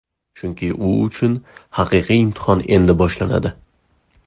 Chunki u uchun haqiqiy imtihon endi boshlanadi.